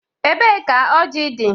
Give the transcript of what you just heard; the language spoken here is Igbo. Ebee ka ọji dị?